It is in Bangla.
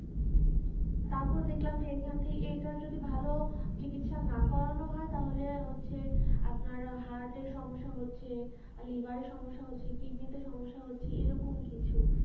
তারপর দেখলাম যে এখান থেকে এটার যদি ভালো চিকিৎসা না করানো হয় তাহলে হচ্ছে আপনার heart এ সমস্যা হচ্ছে liver এ সমস্যা হচ্ছে kidney তে সমস্যা হচ্ছে এরকম কিছু